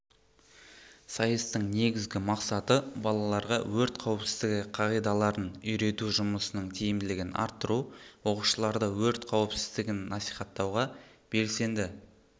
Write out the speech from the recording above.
сайыстың негізгі мақсаты балаларға өрт қауіпсіздігі қағидаларын үйрету жұмысының тиімділігін арттыру оқушыларды өрт қауіпсіздігін насихаттауға белсенді